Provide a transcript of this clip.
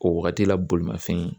Ko waagati la bolimafɛn